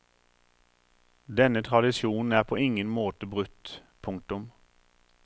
Denne tradisjonen er på ingen måte brutt. punktum